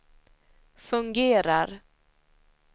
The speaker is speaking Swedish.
fungerar